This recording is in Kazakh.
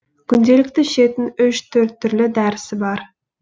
күнделікті ішетін үш төрт түрлі дәрісі бар